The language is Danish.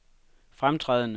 fremtrædende